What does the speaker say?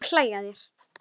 Þorgeir er úr leik.